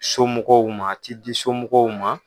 Somɔgɔw ma a ti di somɔgɔw ma.